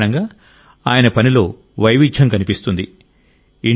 దీని కారణంగా ఆయన పనిలో వైవిధ్యం కనిపిస్తుంది